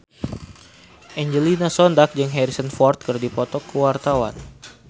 Angelina Sondakh jeung Harrison Ford keur dipoto ku wartawan